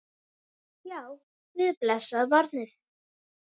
Já, við blessað barnið!